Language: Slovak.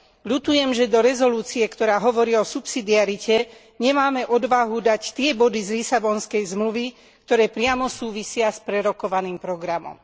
Ľutujem, že do rezolúcie, ktorá hovorí o subsidiarite, nemáme odvahu dať tie body z Lisabonskej zmluvy, ktoré priamo súvisia s prerokovaným programom.